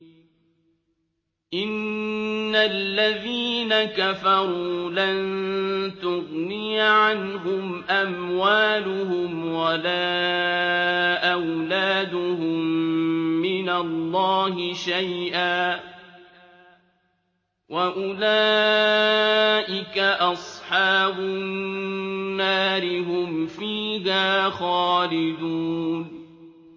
إِنَّ الَّذِينَ كَفَرُوا لَن تُغْنِيَ عَنْهُمْ أَمْوَالُهُمْ وَلَا أَوْلَادُهُم مِّنَ اللَّهِ شَيْئًا ۖ وَأُولَٰئِكَ أَصْحَابُ النَّارِ ۚ هُمْ فِيهَا خَالِدُونَ